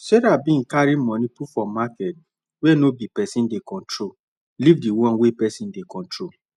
sarah bin come carry money put for market wey no be person dey control leave di one wey na person dey control